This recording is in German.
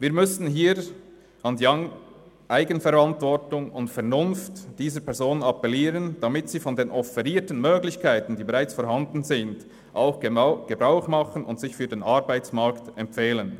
Wir müssen an die Eigenverantwortung und Vernunft dieser Personen appellieren, damit sie von den offerierten, bereits vorhandenen Möglichkeiten auch Gebrauch machen und sich für den Arbeitsmarkt empfehlen.